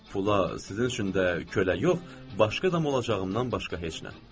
Pula sizin üçün də kölə yox, başqa adam olacağımdan başqa heç nə.